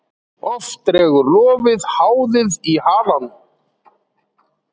Oft dregur lofið háðið í halanum.